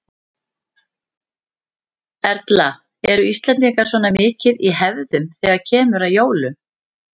Erla: Eru Íslendingar svona mikið í hefðunum þegar kemur að jólum?